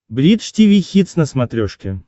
бридж тиви хитс на смотрешке